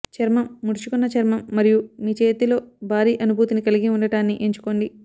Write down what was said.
చర్మం ముడుచుకున్న చర్మం మరియు మీ చేతిలో భారీ అనుభూతిని కలిగి ఉండటాన్ని ఎంచుకోండి